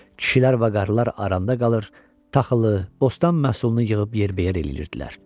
Kişilər vaqarlar arada qalır, taxılı, bostan məhsulunu yığıb yer bəyər eləyirdilər.